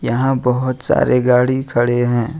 यहाँ बहुत सारे गाड़ी खड़े हैं।